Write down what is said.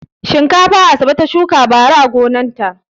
Shinkafa Asabe ta shuka bara a gonarta.